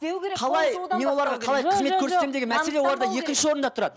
қалай мен оларға қалай қызмет көрсетемін деген мәселе оларда екінші орында тұрады